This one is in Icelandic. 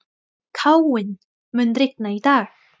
Káinn, mun rigna í dag?